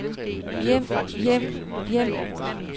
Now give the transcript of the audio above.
hjem hjem hjem